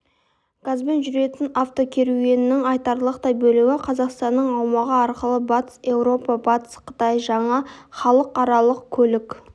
газбен жүретін автокеруеннің айтарлықтай бөлігі қазақстанның аумағы арқылы батыс еуропа батыс қытай жаңа халықаралық көлік